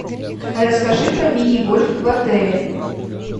расскажи про мини гольф в отеле